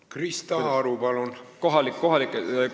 Krista Aru, palun!